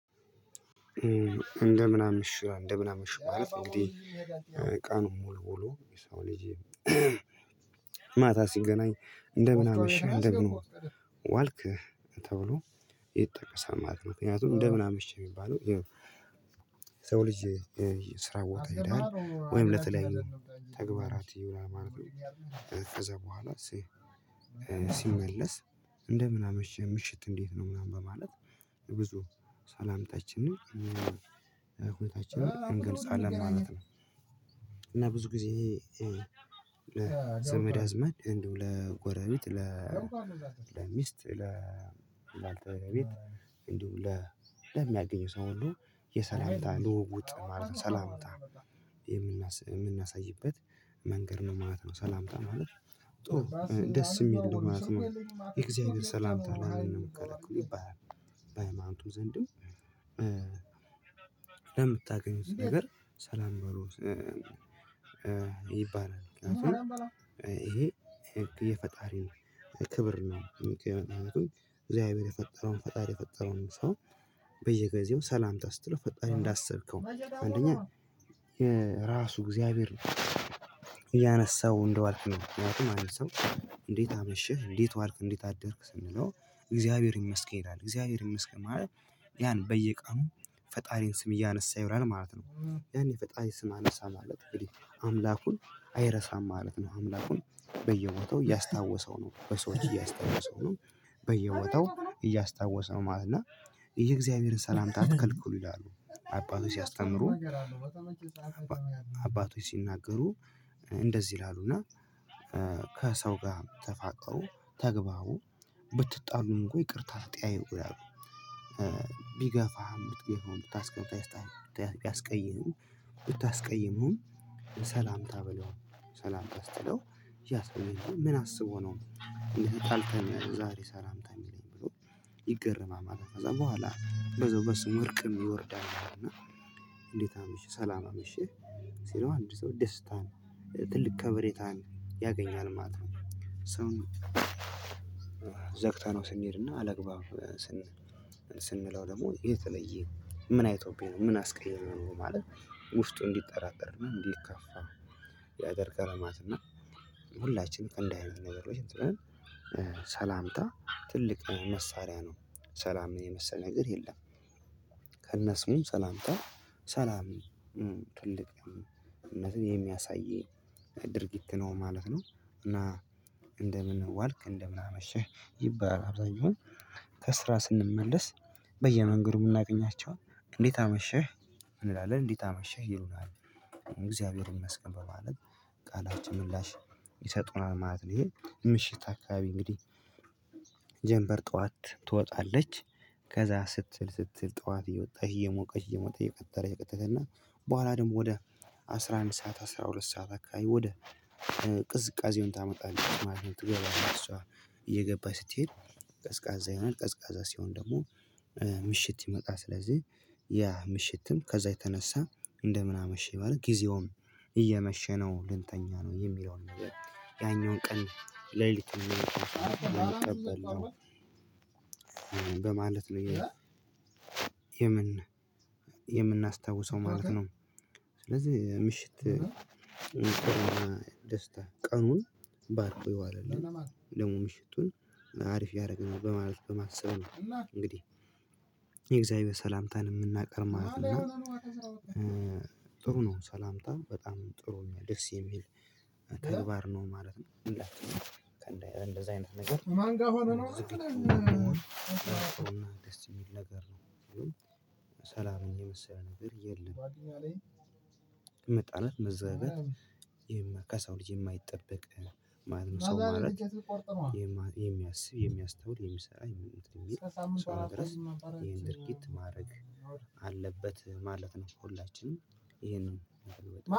እንደምን አመሻ እንደምን አመሸህ ማለት እንግዲህ ቀኑን ሙሉ ውሎ የሰው ልጅ ማታ ሲገናኝ እንደምን አመሸህ እንደምን ዋልክ ተብሎ ይጠቀሳል ማለት ነው። ምክንያቱም እንደምን አመሸህ የሚባለው የሰው ልጅ ስራ ቦታ ይሄዳል ወይም ለተለያየ ተግባራት ይውላል ማለት ነው፤ ከዛ በኋላ ሲመለስ እንደምን አመሸህ ምሽትህ እንዴት ነው ምናምን በማለት ብዙ ሰላምታችንን ሁኔታችንን እንገልጻለን ማለት ነው። እና ብዙ ጊዜ ይሄ ዘመድ አዝማድ እንደው ለጎረቤት ለሚስት ለባልተቤት እንዲሁም ለ ለሚያገኙ ሰው ሁሉ የሰላምታ ልውውጥ ማለት ነው ሰላምታ የምና የምናሳይበት መንገድ ነው ማለት ነው ሰላምታ ማለት ጥሩ ደስ የሚል ነው ማለት ነው። የእግዚአብሔር ሰላምታ ለምንድነው የምትከለክሉ ይባላል በሃማኖቱ ዘንድም ለምታገኙት ነገር ሰላም በሉ ይባላል። ምክንያቱም ይሄ የፈጣሪ ክብር ነው። ምክንይቱም እግዚአብሔር የፈጠረውን ፈጣሪ የፈጠረውን ሰው በየጊዜው ሰላምታ ስትለው ፈጣሪን እንዳሰብከው አንደኛ የራሱ እግዚአብሔር ያነሳው እንደዋልክ ነው ምክንያቱም አንድ ሰው እንዴት አመሸህ እንዴት ዋልክ እንዴት አደርክ ስንለው እግዚአብሔር ይመስገን አለ እግዚአብሔር ይመስገን ማለት ያን በየቀኑ ፈጣሪን ስም እያነሳ ይውላል ማለት ነው። ያን የፈጣሪ ስም አነሳ ማለት አምላኩን አይረሳም ማለት ነው አምላኩን በየቦታው እያስታወሰው ነው በሰዎች እያስታወሰው ነው በየቦታው እያስታወሰው ማለት ነው፤ እና የእግዚአብሔርን ሰላምታ አትከልክሉ ይላሉ አባቶች ሲያስተምሩ አባቶች ሲናገሩ እንደዚህ ይላሉና ከሰው ጋር ተፋቀሩ ተግባቡ ብትጣሉም እንኳን ይቅርታ ጥያቄ እኮ ይላሉ ቢገፋህም ብትገፋውም ብታስቀምጣ ቢያስቀይምህም ብታስቀይመውም ሰላምታ በለው ሰላምታ ስትለው ያሰውዬ ምን አስቦ ነው እንዴ ተጣልተን ዛሬ ሰላምታ የሚለኝ ብሎ ይገርማል ማለት ነው። ከዛ በኋላ በዛው በስሙ እርቅም ይወርዳል ማለት ነው እና እንዴት አመሸህ ሰላም አመሸህ ሲለው አንድ ሰው ደስታን ትልቅ ከበሬታን ያገኛል ማለት ነው። ሰውን ዘግተነው ስንሄድና አላግባብ ስንለው ደግሞ የተለየ ምን አይቶብኝ ነው ምን አስቀይሜው ነው ማለት ውስጡ እንዲጠራጠር እና እንዲከፋ ያደርጋል ማለት ነው እና ሁላችንም ከእንዲህ አይነት ነገር ላይ ሰላምታ ትልቅ መሳሪያ ነው። ሰላምን የመሰለ ነገር የለም። ከነስሙም ሰላምታ ሰላም ትልቅነትን የሚያሳይ ድርጊት ነው ማለት ነው፤ እና እንደምን ዋልክ እንደምን አመሸህ ይባላል። አብዛኛውን ከስራ ስንመለስ በየመንገዱ የምናገኛቸው እንዴት አመሸህ እንላለን እንዴት አመሸህ ይሉናል። እግዚአብሔር ይመስገን በማለት ቃላችን ምላሽ ይሰጡናል ማለት ነው። ይሄ ምሽት አካባቢ እንግዲህ ጀምበር ጠዋት ትወጣለች። ከዛ ስትል ስትል ጠዋት እየወጣች እየሞቀች እየሞቀች እየቀጠረ እየቀጠረ እና በኋላ ደግሞ ወደ አስራ አንድ ሰዓት አስራ ሁለት ሰዓት አካባቢ ወደ ቅዝቃዜውን ታመጣለች ማለት ነው ትገባለች እሷ እየገባች ስትሄድ ቀዝቃዛ ይሆናል ቀዝቃዛ ሲሆን ደግሞ ምሽት ይመቃ ስለዚህ ያ ምሽትም ከዛ የተነሳ እንደምን አመሽኝ በል ጊዜውም እየመሸ ነው ልንተኛ ነው የሚለውን ነገር ያኛውን ቀን ሌሊት እንዲሆን አይቀበልም በማለት ነው የምን የምናስታውሰው ማለት ነው ስለዚህ ምሽት ደስታ ቀኑን ባርኮ ይዋለል ደግሞ ምሽቱን አሪፍ ያደረግናል በማለት በማሰብ ነው እንግዲህ የእግዚአብሔር ሰላምታን የምናቀርባቸው ነው እና ጥሩ ነው ሰላምታ በጣም ጥሩ ነው ደስ የሚል ተግባር ነው ማለት ነው እንደዛ አይነት ነገር ማን ጋር ሆኖ ነው የምንገኘው የሚል ነገር ነው ሰላምን የመሰለ ነገር የለም ከሰው መጣላት መዘጋት ከሰውልጅ የማይጠበቅ ማለት የሚያስብ የሚያስታውር የሚሰራ የሚል ሰው ድረስ ይሄን ድርጊት ማድረግ አለበት ማለት ነው ሁላችንም ይሄንን